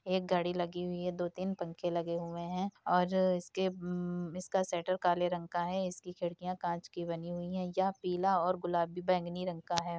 एक घड़ी लगी हुई है दो तीन पंखे लगे हुए हैं और इसके ह्म्म्म्म इसका शटर काले रंग का है। इसकी खिडकियाँ काँच की बनी हुई है। यह पीला और गुलाबी बैंगनी रंग का है।